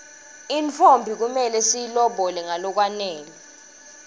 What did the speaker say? intfombi kumele siyilobole ngalokwanele